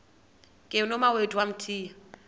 ke nomawethu wamthiya